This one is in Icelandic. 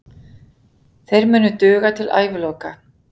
Þeir munu duga til æviloka.